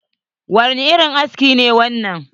Wani irin aski ne wannan?